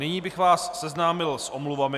Nyní bych vás seznámil s omluvami.